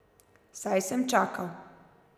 Saj sem čakal.